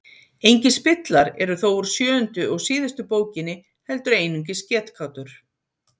engir spillar eru þó úr sjöundu og síðustu bókinni heldur einungis getgátur